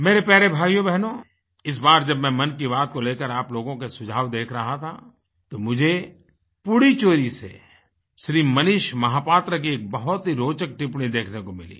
मेरे प्यारे भाइयोबहनो इस बार जब मैं मन की बात को लेकर आप लोगों के सुझाव देख रहा था तो मुझे पुडुचेरी से श्री मनीष महापात्र की एक बहुत ही रोचक टिप्पणी देखने को मिली